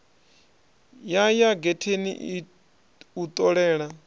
ya ya getheni u ṱolela